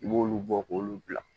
I b'olu bɔ k'olu bila